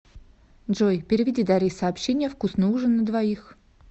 джой переведи дарье сообщение вкусный ужин на двоих